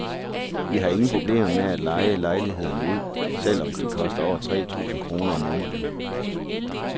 Vi har ingen problemer med at leje lejlighederne ud, selv om de koster over tre tusind kroner om måneden.